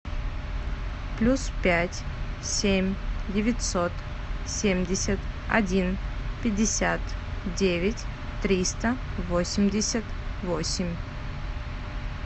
плюс пять семь девятьсот семьдесят один пятьдесят девять триста восемьдесят восемь